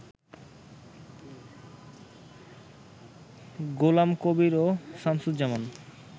গোলাম কবির ও শামসুজ্জামান